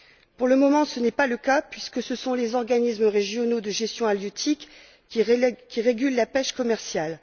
Pour le moment, ce n'est pas le cas puisque ce sont les organismes régionaux de gestion halieutique qui régulent la pêche commerciale.